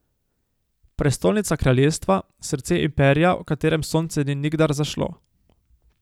Prestolnica kraljestva, srce imperija, v katerem sonce ni nikdar zašlo.